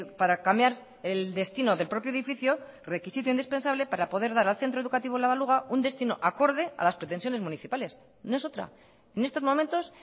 para cambiar el destino del propio edificio requisito indispensable para poder dar al centro educativo la baluga un destino acorde a las pretensiones municipales no es otra en estos momentos